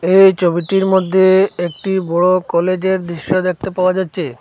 এই ছবিটির মধ্যে একটি বড় কলেজের দৃশ্য দেখতে পাওয়া যাচ্ছে।